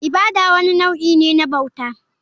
Ibada wani nau'i ne na bauta.